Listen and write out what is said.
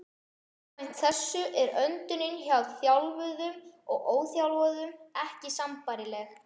Samkvæmt þessu er öndunin hjá þjálfuðum og óþjálfuðum ekki sambærileg.